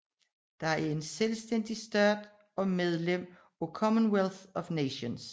Det er en selvstændig stat og medlem af Commonwealth of Nations